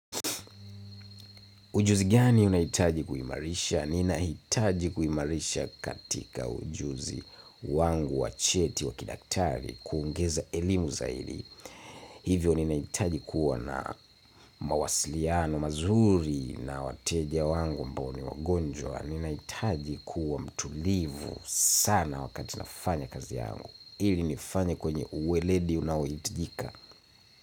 Ujuzi gani unahitaji kuimarisha? Ninahitaji kuimarisha katika ujuzi wangu wacheti wa kidaktari kuongeza elimu zaidi. Hivyo ninahitaji kuwa na mawasiliano mazuri na wateja wangu ambao ni wagonjwa. Ninahitaji kuwa mtulivu sana wakati nafanya kazi yangu ili nifanye kwenye uweledi unaohitajika.